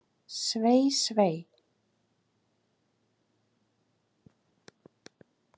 Svei, svei.